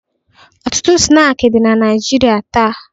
Ọtụtụ snaakị dị na Naịjirịa taa.